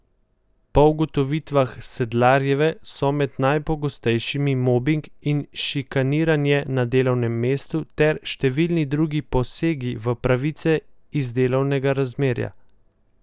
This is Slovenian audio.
Po ugotovitvah Sedlarjeve so med najpogostejšimi mobing in šikaniranje na delovnem mestu ter številni drugi posegi v pravice iz delovnega razmerja.